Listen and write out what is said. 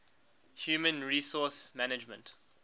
human resource management